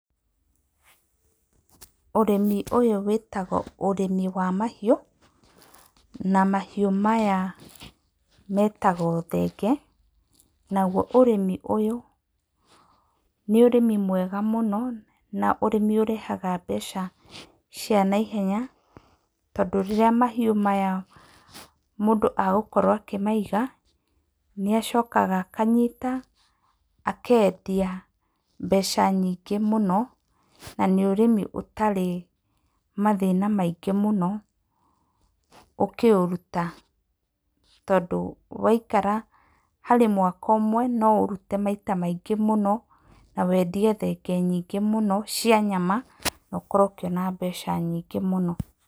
Ũrĩmi ũyũ wĩtagwo ũrĩmi wa mahiũ, na mahiũ maya metagwo thenge, naguo ũrĩmi ũyũ nĩ ũrĩmi mwega mũno, na ũrĩmi ũrehaga mbeca cia naihenya, tondũ rĩrĩa mahiũ maya mũndũ egũkorwo akĩmaiga, nĩ acokaga akanyita akendia mbeca nyingĩ mũno, na nĩ ũrĩmi ũtarĩ mathĩna maingĩ mũno ũkĩũruta, tondũ waikara harĩ mwaka ũmwe noũrute maita maingĩ mũno, na wendie thenge nyingĩ mũno cia nyama nokorwo ũkĩona mbeca nyingĩ mũno.